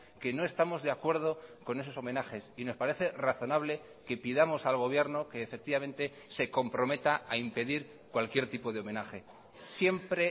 que no estamos de acuerdo con esos homenajes y nos parece razonable que pidamos al gobierno que efectivamente se comprometa a impedir cualquier tipo de homenaje siempre